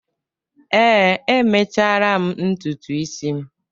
Ee, emechara m ntutu isi m